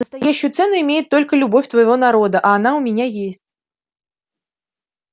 настоящую цену имеет только любовь твоего народа а она у меня есть